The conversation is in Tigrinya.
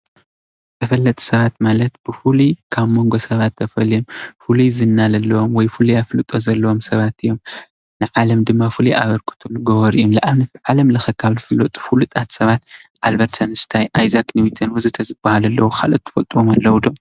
ተፈለጥቲ ሰባት ማለት ብፍሉይ ካብ ሞንጎ ሰባት ተፈልዮም ፍሉይ ዝና ዘለዎም ወይ ፍሉይ አፍልጦ ዘለዎም ሰባት እዮም። ንዓለም ድማ ፍሉይ አበርክቶ ዝገብሩ እዮም። ንአብነት ዓለም ለኸ ካብ ዝፍለጡ ሰባት ፍሉጣት ሰባት አልበርት አንስታይን አይዛክ ኒውቶን ወዘተ ዝበሃሉ አለዉ። ካልአት ትፈልጥዎም አለዉ ዶ?